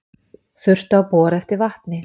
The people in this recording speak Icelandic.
Þurftu að bora eftir vatni